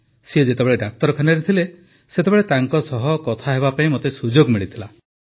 ସେ ଯେତେବେଳେ ଡାକ୍ତରଖାନାରେ ଥିଲେ ସେତେବେଳେ ତାଙ୍କ ସହ କଥା ହେବାପାଇଁ ମୋତେ ସୁଯୋଗ ମିଳିଥିଲା